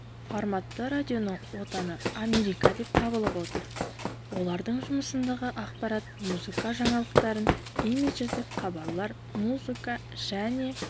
форматты радионың отаны америка деп табылып отыр олардың жұмысындағы ақпарат музыка жаңалықтарын имидждік хабарлар музыка және